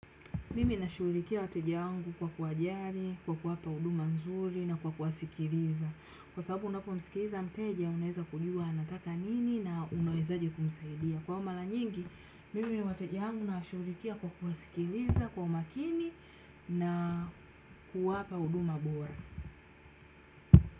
Mimi na shuurikia wateja wangu kwa kuwajari, kwa kuwapa huduma nzuri na kwa kuwasikiliza. Kwa sababu unapomsikiliza mteja, unaeza kujua anataka nini na unawezaje kumsaidia. Kwao mara nyingi, mimi na wateja wangu nawashurikia kwa kuwasikiliza, kwa umakini na kuwapa huduma bora.